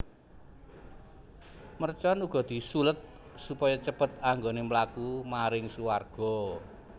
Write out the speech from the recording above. Mercon uga disuled supaya cepet anggoné mlaku maring suwarga